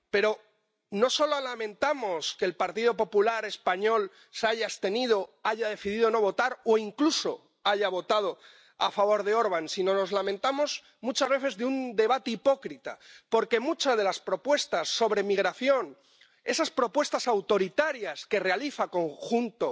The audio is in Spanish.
Pero, no solo lamentamos que el Partido Popular español se haya abstenido, haya decidido no votar o incluso haya votado a favor de Orbán sino, nos lamentamos muchas veces de un debate hipócrita, porque muchas de las propuestas sobre migración —esas propuestas autoritarias que realiza junto